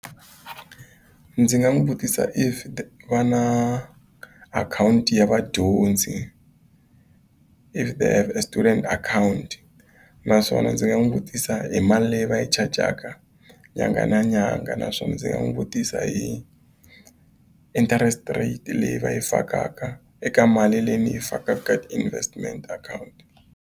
Ndzi nga n'wi vutisa if va na akhawunti ya vadyondzi if they have a student akhawunti naswona ndzi nga n'wi vutisa hi mali leyi va yi chajaka nyanga na nyanga naswona ndzi nga n'wi vutisa hi interest rate leyi va yi fakaka eka mali leyi ni yi fakaka ka ti-investment akhawunti.